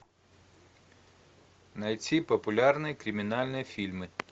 найти популярные криминальные фильмы